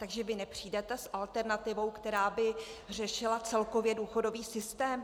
Takže vy nepřijdete s alternativou, která by řešila celkově důchodový systém?